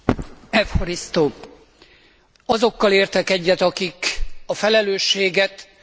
Azokkal értek egyet, akik a felelősséget kölcsönösen állapítják meg.